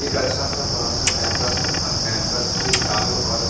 एक अच्छा सा बड़ा सा कैंपस है और कैंपस के चारों ओर--